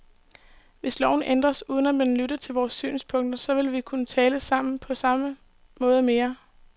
Hvis loven ændres, uden at man lytter til vores synspunkter, så vil vi ikke kunne tale sammen på samme måde mere.